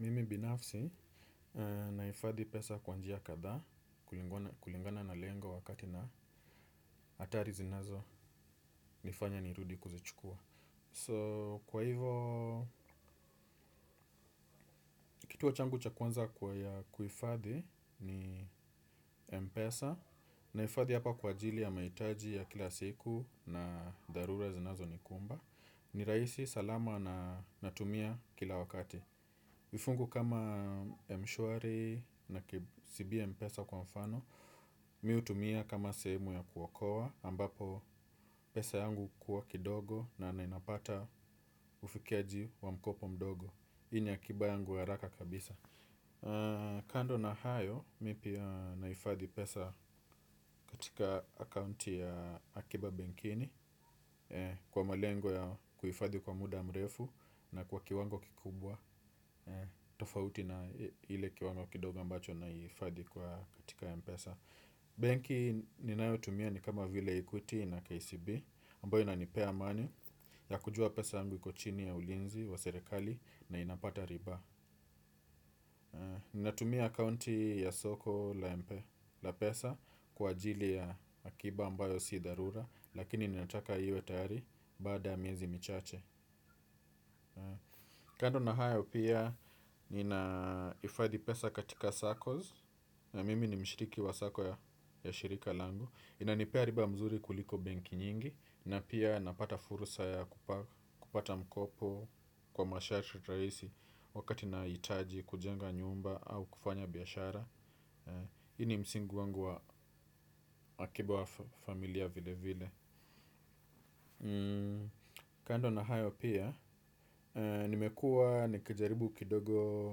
Mimi binafsi naifadhi pesa kwa njia kadhaa kulingana na lengo wakati na hatari zinazo nifanya nirudi kuzichukua. So kwa hivo kituo changu cha kwanza kwa ya kuifadhi ni mpesa, naifadhi hapa kwa ajili ya mahitaji ya kila siku na dharura zinazo nikumba. Ni rahisi, salama na natumia kila wakati. Vifungu kama mshwari na kcb mpesa kwa mfano, mimi hutumia kama sehemu ya kuokoa, ambapo pesa yangu hukuwa kidogo na ninapata ufikiaji wa mkopo mdogo. Hii ni akiba yangu ya haraka kabisa. Kando na hayo, mimi pia naifadhi pesa katika akaunti ya akiba benkini kwa malengo ya kuhifadhi kwa muda mrefu na kwa kiwango kikubwa. Tofauti na ile kiwango kidogo ambacho na hifadhi kwa katika ya mpesa. Benki ninayo tumia ni kama vile Equity na Kcb ambayo inanipea amani ya kujua pesa yangu iko chini ya ulinzi wa serikali. Na inapata ribaa. Ninatumia accounti ya soko la mpe la pesa kwa ajili ya akiba ambayo si dharura lakini ninataka iwe tayari baada ya miezi michache. Kando na hayo pia nina hifadhi pesa katika saccos na mimi ni mshiriki wa sacco ya shirika langu inanipea riba mzuri kuliko benki nyingi na pia napata furusa ya kupata mkopo kwa masharti rahisi. Wakati na nahitaji kujenga nyumba au kufanya biashara. Hii ni msingi wangu wa akiba wa familia vile vile. Kando na hayo pia nimekua nikijaribu kidogo